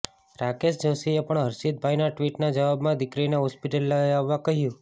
રાકેશ જોષીએ પણ હર્ષિતભાઇના ટ્વીટના જવાબમાં દીકરીને હોસ્પિટલ લઇ આવવા કહ્યું